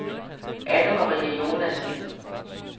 Anne-Marie Jonassen